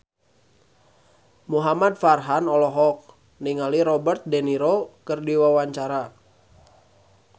Muhamad Farhan olohok ningali Robert de Niro keur diwawancara